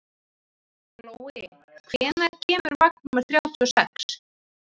Glói, hvenær kemur vagn númer þrjátíu og sex?